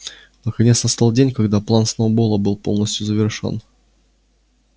наконец настал день когда план сноуболла был полностью завершён